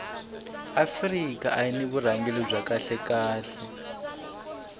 afika ayiri ni vurhangeri bya kahle khale